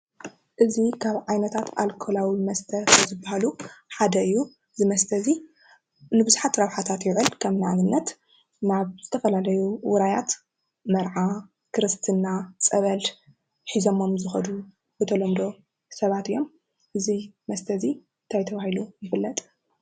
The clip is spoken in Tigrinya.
እዚ ካብ ዓይነት አልኮላዊ መስተ ካብ ዝበሃሉ ሓደ እዩ፡፡ እዚ መስተ እዚ ንቡዙሓት ረብሓታት ይውዕል፡፡ ከም አብነት፡- ናብ ዝተፈላለዩ ውራያት መርዓ፣ ክርስትና፣ ፀበል ሒዘሞም ዝኸዱ ብተለምዶ ሰባት እዮም፡፡ እዚ መስተ እዚ እንታይ ተባሂሉ ይፍለጥ?